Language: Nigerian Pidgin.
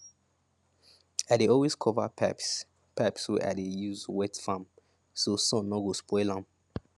i dey always cover pipes pipes wey i dey use wet farm so sun no go spoil am